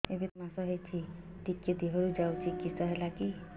ଏବେ ତିନ୍ ମାସ ହେଇଛି ଟିକିଏ ଦିହରୁ ଯାଉଛି କିଶ ହେଲାକି